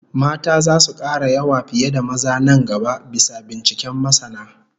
Mata zasu kara yawa fiye da maza nan gaba, bisa binciken masana